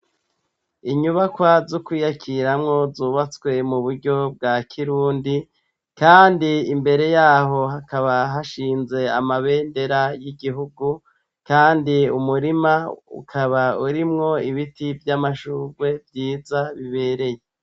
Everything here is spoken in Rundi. Inyubakwa z'ukwiyakiramwo zubatswe mu buryo bwa kirundi, kandi imbere yaho hakaba hashinze amabendera y'igihugu, kandi umurima ukaba urimwo ibiti vy'amashurwe vyiza bibereye.